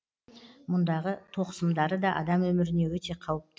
мұндағы тоқ сымдары да адам өміріне өте қауіпті